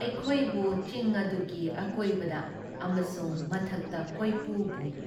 ꯑꯩꯈꯣꯏꯕꯨ ꯆꯤꯡ ꯑꯗꯨꯒꯤ ꯑꯀꯣꯏꯕꯗ ꯑꯃꯁꯨꯡ ꯃꯊꯛꯇ ꯀꯣꯏꯄꯨ ꯄꯨꯏ ꯫